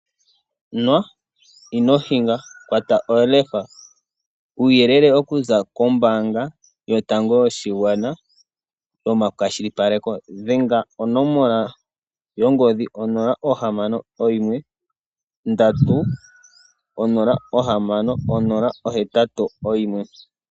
Nwa ino hinga, kwata olefa , uuyelele okuza kombaanga yotango yoshigwana . Nomakwashilipaleko dhenga konomola yongodhi 061306081.